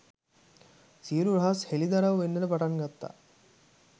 සියළු රහස් හෙළිදරව් වෙන්නට පටන් ගත්තා